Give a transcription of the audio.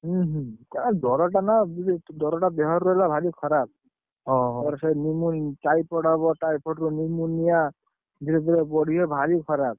ହୁଁ ହୁଁ, ଜର ଟା ନା, ଜର ଟା ଦେହରେ ରହିଲେ ଭାରି ଖରାପ। typhoid ହବ ତା ଏପଡରୁ typhoid ଧୀରେ ଧୀରେ ବଢିବ ଭାରି ଖରାପ।